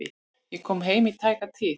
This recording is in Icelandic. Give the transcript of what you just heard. Ég kom heim í tæka tíð.